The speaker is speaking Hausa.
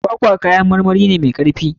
Kwakwa kayan marmari ne mai karfi.